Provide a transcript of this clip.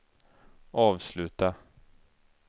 avsluta